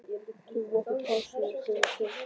Tökum okkur pásu og förum í sund.